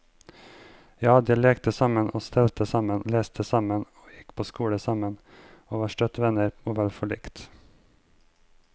Ja, de lekte sammen og stelte sammen, leste sammen og gikk på skole sammen, og var støtt venner og vel forlikt.